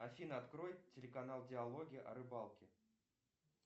афина открой телеканал диалоги о рыбалке